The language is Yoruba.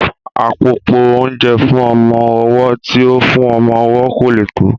Àpòpọ́ oúnjẹ fún ọmọ ọwọ́ tí ó fún ọmọ owó kò lè tó